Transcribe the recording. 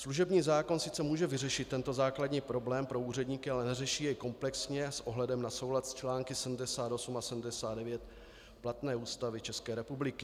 Služební zákon sice může vyřešit tento základní problém pro úředníky, ale neřeší jej komplexně s ohledem na soulad s články 78 a 79 platné Ústavy České republiky.